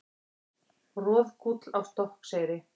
Roðgúll á Stokkseyri.